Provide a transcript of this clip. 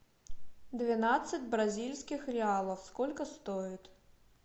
двенадцать бразильских реалов сколько стоит